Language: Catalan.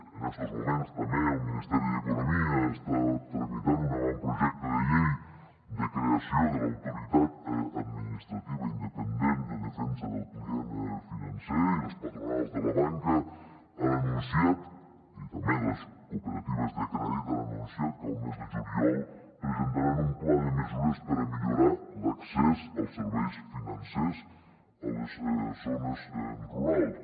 en estos moments també el ministeri d’economia està tramitant un avantprojecte de llei de creació de l’autoritat administrativa independent de defensa del client financer i les patronals de la banca i també les cooperatives de crèdit han anunciat que al mes de juliol presentaran un pla de mesures per a millorar l’accés als serveis financers a les zones rurals